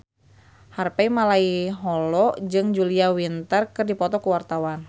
Harvey Malaiholo jeung Julia Winter keur dipoto ku wartawan